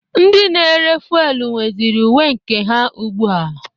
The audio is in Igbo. Ndị na-ere fuwelu nweziri uwe nke ha ugbu a.